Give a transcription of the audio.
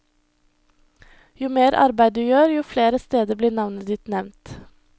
Jo mer arbeid du gjør, jo flere steder blir navnet ditt nevnt.